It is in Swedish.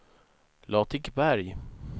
Latikberg